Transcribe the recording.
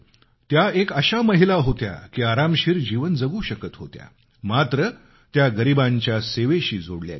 त्या एक अशा महिला होत्या की आरामशीर जीवन जगू शकत होत्या मात्र त्या गरिबांच्या सेवेशी जोडल्या गेल्या